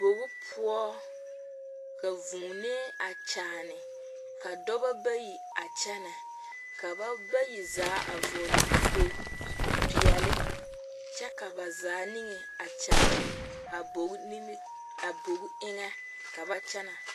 Bogi poɔ ka vuunee a kyããne ka dɔba bayi a kyɛnɛ dɔba bayi zaa a vɔgle kpoglipeɛle kyɛ ka ba zaa niŋe a kyaare a boginimi a bogi eŋɛ ka ba kyɛnɛ.